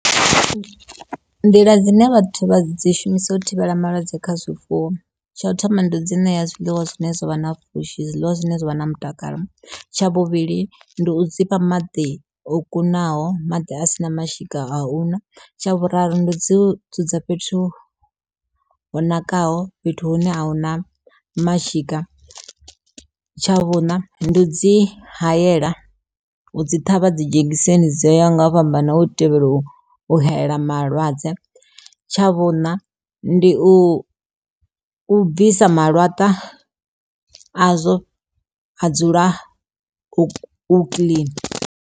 Nḓila dzine vhathu vha dzi shumisa u thivhela malwadze kha zwifuwo tsha u thoma ndi dzi ṋea zwiḽiwa zwine zwavha na pfhushi zwiḽiwa zwine zwa vha na mutakalo, tsha vhuvhili ndi u dzi fha maḓi o kunaho maḓi a sina mashika a u ṅwa, tsha vhuraru ndi dzi dzudza fhethu ho nakaho fhethu hune ahuna mashika. Tsha vhuṋa ndi u dzi hayela u dzi ṱhavha dzi dzhegiseni dzo yaho nga u fhambana na u thivhela u hayela malwadze tsha vhuṋa ndi u bvisa malatwa a zwo ha dzula hu kiḽini.